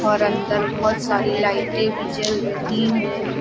और अंदर बहुत सारी लाइटें भी जल रही हैं।